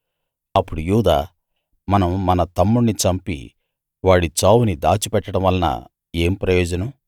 అప్పుడు యూదా మనం మన తమ్ముణ్ణి చంపి వాడి చావుని దాచిపెట్టడం వలన ఏం ప్రయోజనం